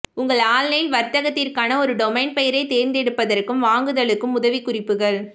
உங்கள் ஆன்லைன் வர்த்தகத்திற்கான ஒரு டொமைன் பெயரை தேர்ந்தெடுப்பதற்கும் வாங்குதலுக்கும் உதவிக்குறிப்புகள்